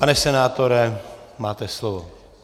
Pane senátore, máte slovo.